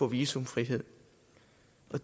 visumfrihed